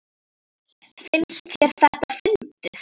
Finnst þér þetta fyndið?